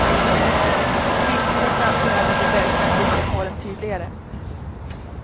I kristider framträder de verkliga livsvillkoren tydligare.